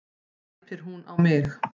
æpir hún á mig.